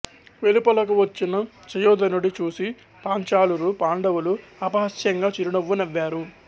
వెలుపలకు వచ్చిన సుయోధనుడి చూసి పాంచాలురు పాండవులు అపహాస్యంగా చిరునవ్వు నవ్వారు